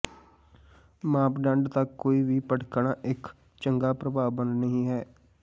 ਮਾਪਦੰਡ ਤੱਕ ਕੋਈ ਵੀ ਭਟਕਣ ਇੱਕ ਚੰਗਾ ਪ੍ਰਭਾਵ ਬਣਾ ਨਹੀ ਹੈ